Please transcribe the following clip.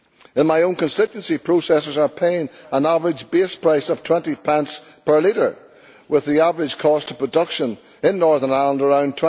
In my own constituency, processers are paying an average base price of 20 pence per litre, with the average cost of production in Northern Ireland around